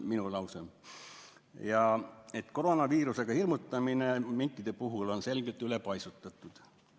Mina ütlesin, et koroonaviirusega hirmutamine minkide puhul on selgelt üle paisutatud.